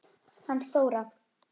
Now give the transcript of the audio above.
Hann Stóra